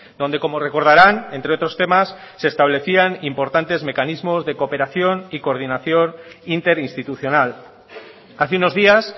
donde como recordarán entre otros temas se establecían importantes mecanismos de cooperación y coordinación interinstitucional hace unos días